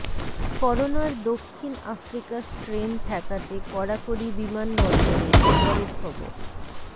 করোনার দক্ষিণ Africa strain ঠেকাতে কড়াকড়ি বিমানবন্দরে পরের খবর